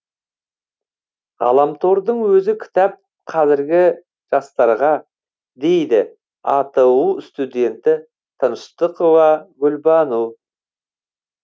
ғаламтордың өзі кітап қазіргі жастарға дейді ату студенті тыныштықова гүлбану